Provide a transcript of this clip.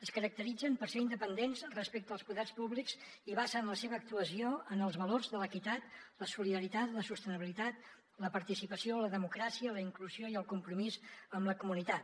es caracteritzen per ser independents respecte als poders públics i basen la seva actuació en els valors de l’equitat la solidaritat la sostenibilitat la participació la democràcia la inclusió i el compromís amb la comunitat